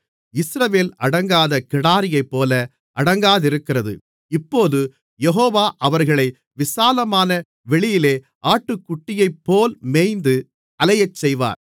இஸ்ரவேல் அடங்காத கிடாரியைப்போல அடங்காதிருக்கிறது இப்போது யெகோவா அவர்களை விசாலமான வெளியிலே ஆட்டுக்குட்டியைப்போல் மேய்ந்து அலையச் செய்வார்